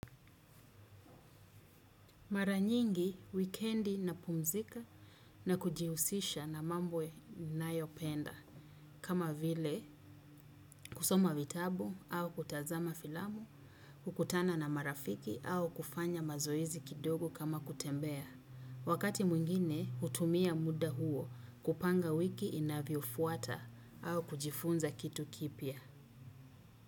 Maranyingi, wikendi na pumzika na kujihusisha na mambo nina yopenda. Kama vile, kusoma vitabu au kutazama filamu, hukutana na marafiki au kufanya mazoizi kidogo kama kutembea. Wakati mwingine, hutumia muda huo kupanga wiki inavyo fuata au kujifunza kitu kipya.